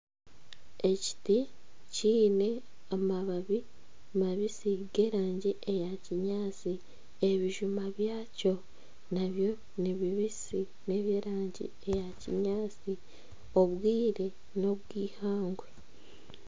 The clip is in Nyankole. Ekiti kiine amababi mabisi g'erangi eya kinyaatsi. Ebijuma byakyo nabyo ni bibisi n'eby'erangi eya kinyaatsi. Obwire n'obw'eihangwe.